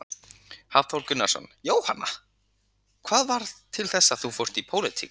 Hafþór Gunnarsson: Jóhanna, hvað varð til þess að þú fórst í pólitík?